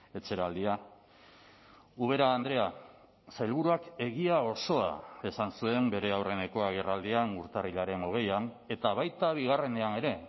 etxeraldia ubera andrea sailburuak egia osoa esan zuen bere aurreneko agerraldian urtarrilaren hogeian eta baita bigarrenean ere